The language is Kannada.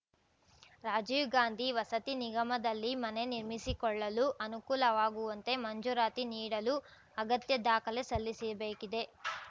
ರಾಜೀವ್‌ಗಾಂಧಿ ವಸತಿ ನಿಗಮದಲ್ಲಿ ಮನೆ ನಿರ್ಮಿಸಿಕೊಳ್ಳಲು ಅನುಕೂಲವಾಗುವಂತೆ ಮಂಜೂರಾತಿ ನೀಡಲು ಅಗತ್ಯ ದಾಖಲೆ ಸಲ್ಲಿಸಬೇಕಿದೆ